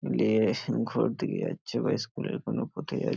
লিয়ে-হ ঘর দিকে যাচ্ছে বা স্কুল -এর কোনো কোথায় যা --